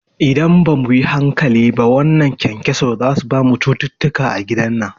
Idan bamu yi hankali ba wannan kyankyaso zasu bamu cututtuka a gidan nan